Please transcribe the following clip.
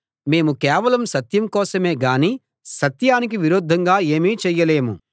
మేము కేవలం సత్యం కోసమే గానీ సత్యానికి విరుద్ధంగా ఏమీ చెయ్యలేము